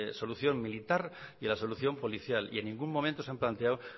solución militar y la solución policial y en ningún momento se han planteado